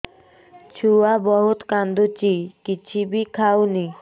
ଛୁଆ ବହୁତ୍ କାନ୍ଦୁଚି କିଛିବି ଖାଉନି